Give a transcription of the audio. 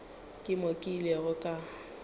ke mo ke ilego ka